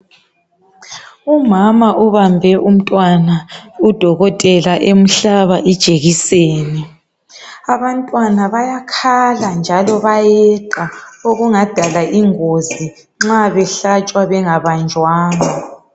Umama ubambe umntwana, udokotela emhlaba ijekiseni. Abantwana bayakhala njalo bayeqa okungadala ingozi nxa behlatshwa bengabanjwanga.